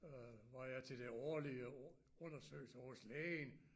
Øh var jeg til den årlige undersøgelse hos lægen